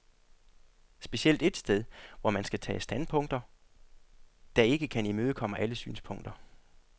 Specielt et sted, hvor man skal tage standpunkter, der ikke kan imødekomme alle synspunkter.